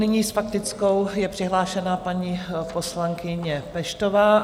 Nyní s faktickou je přihlášena paní poslankyně Peštová.